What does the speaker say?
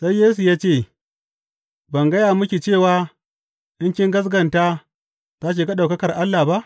Sai Yesu ya ce, Ban gaya miki cewa in kin gaskata za ki ga ɗaukakar Allah ba?